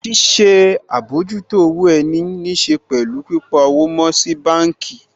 Ṣíṣe àbójútó owó ẹni níṣe pẹ̀lú pípa owó mọ́ sí báànkì